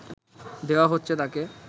দেওয়া হচ্ছে তাকে